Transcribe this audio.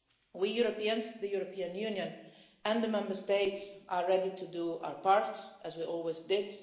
fail. We Europeans, the European Union and the Member States, are ready to do our part, as we always